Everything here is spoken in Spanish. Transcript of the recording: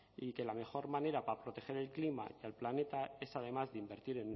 y que la mejor manera para proteger el clima del planeta es además de invertir